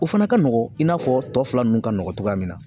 O fana ka nɔgɔn i n'a fɔ tɔ fila nunnu ka nɔgɔn cogoya min na